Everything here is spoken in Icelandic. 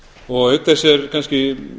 og auk þess er kannski